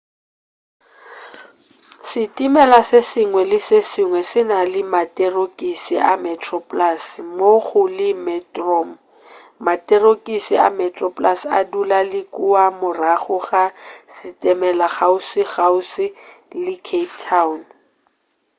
setimela se sengwe le se sengwe se na le materokis a metroplus mmogo le metrom materokisi a metroplus a dula le kua morago ga setimela kgauswikgauswi le cape town